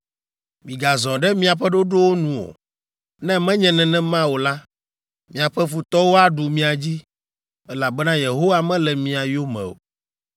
Migazɔ ɖe miaƒe ɖoɖowo nu o; ne menye nenema o la, miaƒe futɔwo aɖu mia dzi, elabena Yehowa mele mia yome o.